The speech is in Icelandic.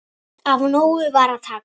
Af nógu var að taka.